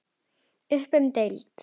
Upp um deild